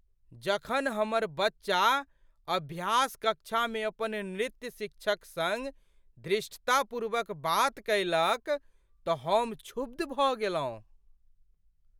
जखन हमर बच्चा अभ्यास कक्षामे अपन नृत्य शिक्षक सङ्ग धृष्टतापूर्वक बात कएलक तँ हम क्षुब्ध भऽ गेलहुँ।